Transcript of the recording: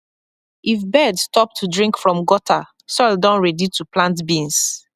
if bird stop to drink from gutter soil don ready to plant beans